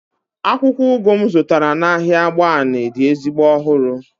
akwukwo ugu m zụtara n'ahịa agbani dị ezigbo ọhụrụ